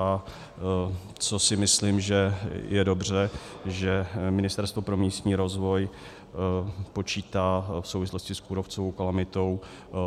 A co si myslím, že je dobře, že Ministerstvo pro místní rozvoj počítá v souvislosti s kůrovcovou kalamitou